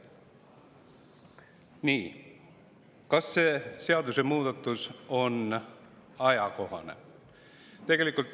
Kas see seadusemuudatus on ajakohane?